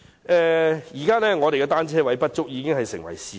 香港的單車泊位不足是事實。